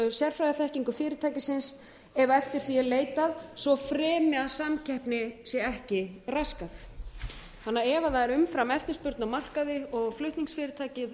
sérfræðiþekkingu fyrirtækisins ef eftir því er leitað svo fremi að samkeppni sé ekki raskað ef það er umframeftirspurn á markaði og flutningsfyrirtækið